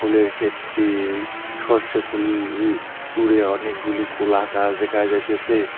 ফুলের খেতটি সরষে ফুল দূরে অনেক গুলি কোলাগাছ দেখা যাইতেছে।